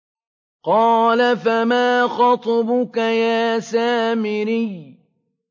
قَالَ فَمَا خَطْبُكَ يَا سَامِرِيُّ